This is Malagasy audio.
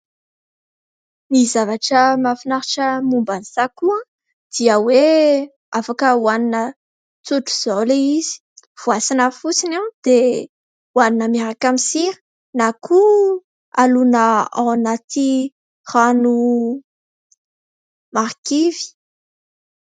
Ny zavatra mahafinaritra momba ny sakoa dia hoe afaka ohanina tsotra izao ilay izy. Voasana fotsiny dia ohanina miaraka amin'ny sira na koa alona ao anaty rano marikivy.